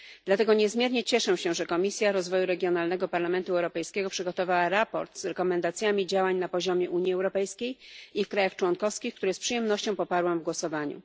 Dlatego niezmiernie cieszę się, że Komisja Rozwoju Regionalnego Parlamentu Europejskiego przygotowała sprawozdanie z zaleceniami działań na poziomie Unii Europejskiej i w państwach członkowskich, co z przyjemnością poparłam w głosowaniu.